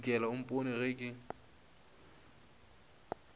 ntšhokela o mpone ge ke